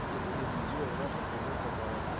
Então Cine Biju, Europa, Cometa, Guarani.